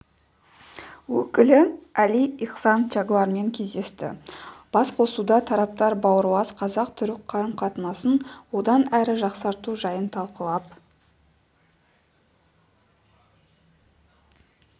өкілі әли ихсан чаглармен кездесті басқосуда тараптар бауырлас қазақ-түрік қарым-қатынасын одан әрі жақсарту жайын талқылап